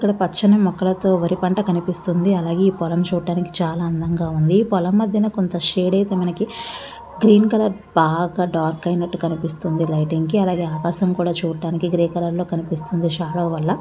ఇక్కడ పచ్చని మొక్కలతో వరి పంట కనిపిస్తుంది. అలాగే ఈ పొలం చూడడానికి చాలా అందంగా ఉంది. పోలం మధ్యన కొంత సేడ్ అయితే మనకి గ్రీన్ కలర్ బాగా డార్క్ అయినట్టు కనిపిస్తుంది. లైటింగ్ కి అలాగే ఆకాశం కూడా చూడటానికి గ్రీన్ కలర్ కనిపిస్తుంది. షాడో వల్ల--